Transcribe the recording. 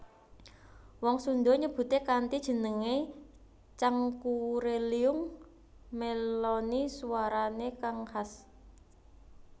Wong Sunda nyebuté kanthi jeneng Cangkurileung mèloni suwarané kang khas